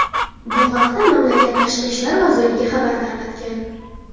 Bu haqda mamlakat tashqi ishlar vazirligi xabar tarqatgan .